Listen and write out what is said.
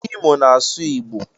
Imo na asụ igbo.